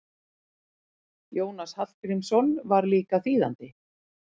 Jónas Hallgrímsson var líka þýðandi.